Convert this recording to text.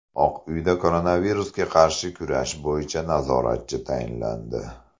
Oq uyda koronavirusga qarshi kurash bo‘yicha nazoratchi tayinlandi.